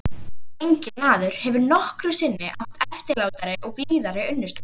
Enginn maður hefur nokkru sinni átt eftirlátari og blíðari unnustu.